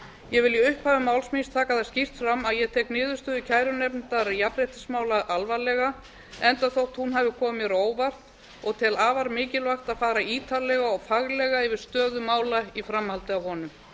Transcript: ég vil í upphafi máls míns taka það skýrt fram að ég tek niðurstöðu kærunefndar jafnréttismála alvarlega enda þótt hún hafi komið mér á óvart og tel afar mikilvægt að fara ítarlega og faglega yfir stöðu mála í framhaldi af honum